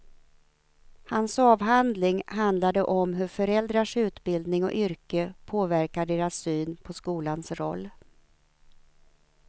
Hans avhandling handlade om hur föräldrars utbildning och yrke påverkar deras syn på skolans roll.